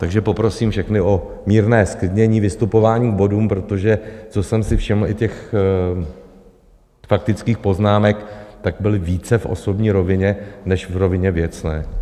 Takže poprosím všechny o mírné zklidnění vystupování k bodům, protože co jsem si všiml i těch faktických poznámek, tak byly více v osobní rovině než v rovině věcné.